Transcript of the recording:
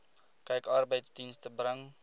kyk arbeidsdienste bring